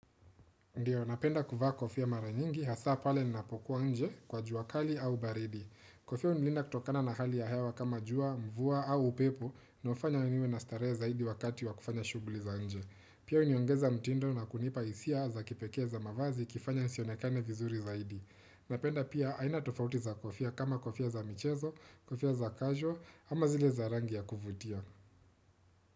Ndiyo, napenda kuvaa kofia mara nyingi, hasa pale ninapokuwa nje kwa jua kali au baridi. Kofia hunilinda kutokana na hali ya hewa kama jua, mvua au upepo, inayofanya niwe na starehe zaidi wakati wa kufanya shughuli za nje. Pia huniongeza mtindo na kunipa hisia za kipekee za mavazi ikifanya nisionekane vizuri zaidi. Napenda pia, aina tofauti za kofia kama kofia za michezo, kofia za casual, ama zile za rangi ya kuvutia.